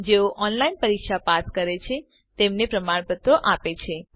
જેઓ online test pass કરે છે તેમને પ્રમાણપત્રો પણ આપીએ છીએ